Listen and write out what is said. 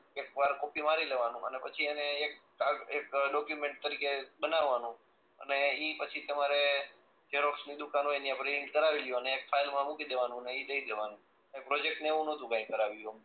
એકવાર કોપી મારી લેવાનું અને પછી એને એક ડોક્ઈયુમેન્ટ તરીકે બનાવાનું અને ઈ પછી તમારે ઝેરોક્ષ ની દુકાન હોય ત્યાં પ્રિન્ટ કરાવીલ્યો અને એ ફાઈલ માં મૂકી દેવાનું ને ઈ દઈ દેવાનું પ્રોજેક્ટ ને એવું નતું કઈ કરાયું